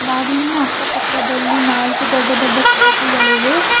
ಬಾಗಿಲಿನ ಅಕ್ಕ ಪಕ್ಕದಲ್ಲಿ ನಾಲ್ಕು ದೊಡ್ಡ ದೊಡ್ಡ ಕಿಟಕಿಗಳಿವೆ.